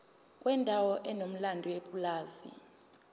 kwendawo enomlando yepulazi